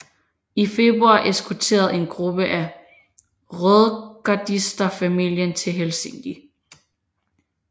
I februar eskorterede en gruppe af rødgardister familien til Helsinki